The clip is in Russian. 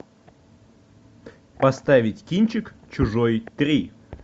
поставить кинчик чужой три